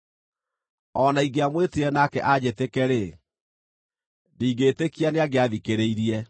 O na ingĩamwĩtire nake anjĩtĩke-rĩ, ndingĩĩtĩkia nĩangĩathikĩrĩirie.